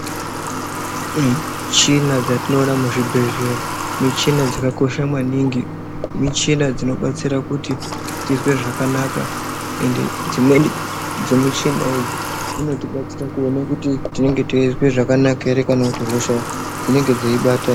Michina dzatinoona muzvibhedhleya muchina dzakakosha maningi muchina dzinobatsira kuti tizwe zvakanaka ende dzimweni dzemuchina idzi dzinotibatsira kuone kuti tinenge teizwe zvakanaka ere kana kuti hosha dzinenge dzeibata.